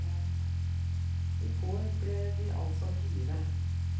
I går ble de altså fire.